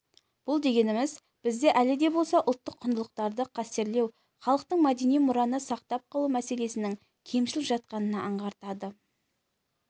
бұл дегеніміз бізде әлі де болса ұлттық құндылықтарды қастерлеу халықтық мәдени мұраны сақтап қалу мәселесінің кемшіл жатқанын аңғартады